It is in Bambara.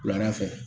Wulada fɛ